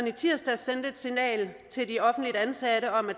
i tirsdags sendte et signal til de offentligt ansatte om at